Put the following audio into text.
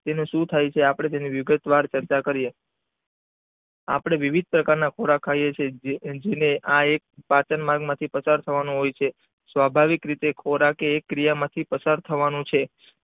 તેનું શું થાય છે તેની વિગત વાર આપણે ચર્ચા કરીયે આપણે વિવિધ પ્રકાર ના ખોરાક ખાઈએ છીએ જે આ એક પાચન નામ માંથી પસાર થવાનો હોય છે સ્વાભિવક રીતે ખોરાક એક ક્રિયા માંથી પસાર થવાનો છે.